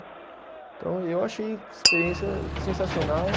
Então, eu achei a experiência sensacional.